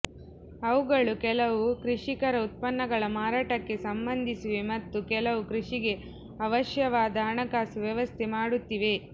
ಅವುಗಳು ಕೆಲವು ಕೃಷಿಕರ ಉತ್ಪನ್ನಗಳ ಮಾರಾಟಕ್ಕೆ ಸಂಬಂಧಿಸಿವೆ ಮತ್ತೆ ಕೆಲವು ಕೃಷಿಗೆ ಅವಶ್ಯವಾದ ಹಣಕಾಸು ವ್ಯವಸ್ಥೆ ಮಾಡುತ್ತಿವೆ